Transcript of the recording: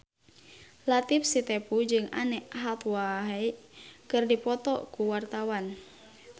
Latief Sitepu jeung Anne Hathaway keur dipoto ku wartawan